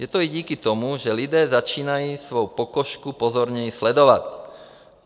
Je to i díky tomu, že lidé začínají svou pokožku pozorněji sledovat.